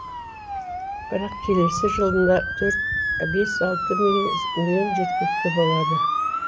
бірақ келесі жылында төрт бес алты миллион жеткілікті болады